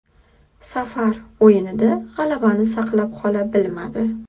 Safar o‘yinida g‘alabani saqlab qola bilmadi.